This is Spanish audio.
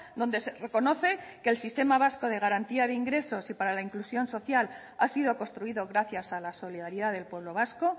donde se reconoce que el sistema vasco de garantía de ingresos y para la inclusión social ha sido construido gracias a la solidaridad del pueblo vasco